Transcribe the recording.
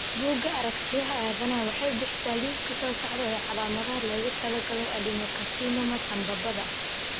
Bugga Aaragtiyaha Aadanaha waxay bixisaa liiska soo socda ee calaamadaha loogu talagalay adenocarcinoma sambabada.